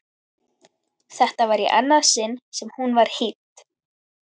Þetta var í annað sinn sem hún var hýdd.